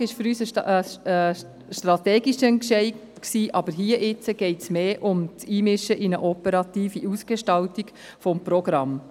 Die Standortfrage war für uns ein strategischer Entscheid, aber hier geht es mehr um eine Einmischung in die operative Ausgestaltung des Programms.